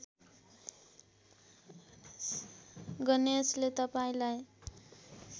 गणेशले तपाईँलाई